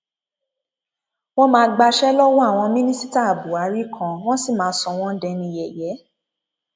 wọn máa gbaṣẹ lọwọ àwọn mínísítà buhari kan wọn sì máa sọ wọn dẹni yẹyẹ